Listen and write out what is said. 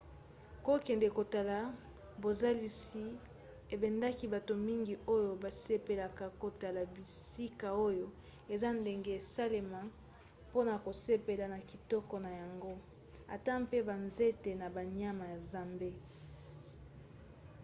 kokende kotala bozalisi ebendaka bato mingi oyo basepelaka kotala bisika oyo eza ndenge esalema mpona kosepela na kitoko na yango ata mpe banzete na banyama ya zamba